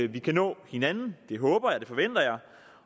vi kan nå hinanden det håber jeg og det forventer jeg